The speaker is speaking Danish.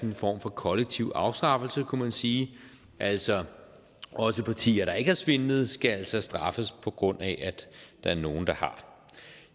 en form for kollektiv afstraffelse kunne man sige altså også partier der ikke har svindlet skal skal straffes på grund af at der er nogle der har